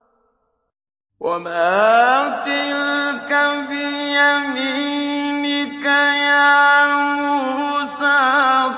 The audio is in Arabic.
وَمَا تِلْكَ بِيَمِينِكَ يَا مُوسَىٰ